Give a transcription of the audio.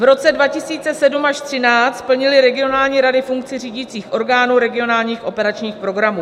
V roce 2007 až 2013 plnily regionální rady funkci řídících orgánů regionálních operačních programů.